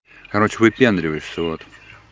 короче выпендриваешься вот